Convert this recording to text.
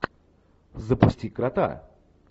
запусти крота